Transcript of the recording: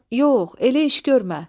Yox, elə iş görmə.